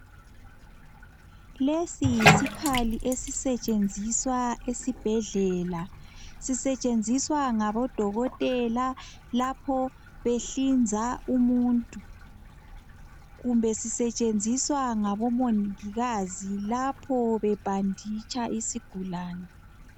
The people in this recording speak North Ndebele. Lesi yisikhali esisetshenziswa esibhedlela. Sisetshenziswa ngabodokotela lapho behlinza umuntu. Kumbe sisetshenziswa ngabomongikazi lapho bebhanditsha isigulane.